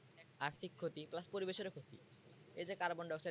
আর্থিক ক্ষতি plus পরিবেশের ক্ষতি এইযে carbon dioxide এ